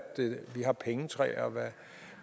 vi har pengetræer og